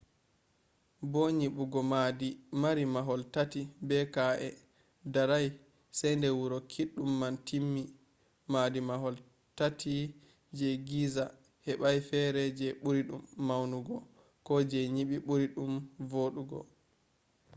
bo nyibugo maadi mari mahol tati be ka’e darai se de wuro kiddum man timmi maadi mahol tati je giza hebai fere je buri dum maunugo ko je nyibi buri dum vodugo